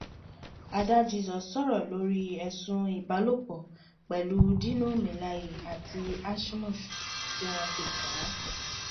adá jesus sọ̀rọ̀ lórí ẹ̀sùn ìbálòpọ̀ pẹ̀lú dino melaye àti ashmus tí wọ́n fi kàn án